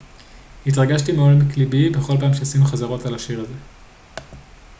התרגשתי מעומק לבי בכל פעם שעשינו חזרות על השיר הזה